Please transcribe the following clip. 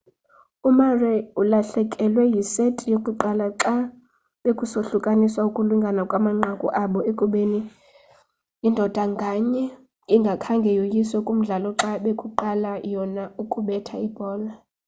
umurray ulahlekelwe yiseti yokuqala xa bekusohlukaniswa ukulingana kwamanqaku abo ekubeni ndoda nganye ingakhange yoyiswe kumdlalo xa bekuqala yona ukubetha ibhola